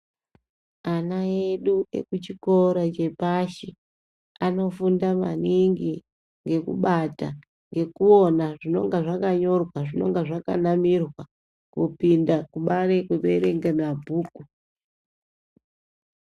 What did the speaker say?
Ana edu ekuchikora chepashi anofunda maningi ngekubata, ngekuona zvinonga zvakanyorwa. Zvinonga zvakanamirwa kupinda kubaari kuerenga mabhuku.